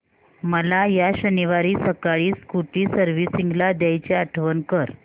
मला या शनिवारी सकाळी स्कूटी सर्व्हिसिंगला द्यायची आठवण कर